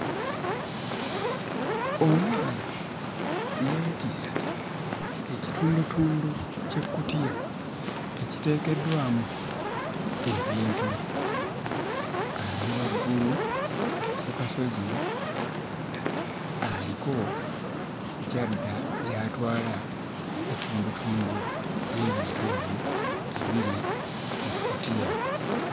Omwana yeetisse ekitundutundu ky'ekkutiya ekiteekeddwamu ebintu. Ali waggulu ku kasozi, aliko gy'adda gy'atwala ettundutundu ly'ebintu ebyo ebiri mu kkutiya.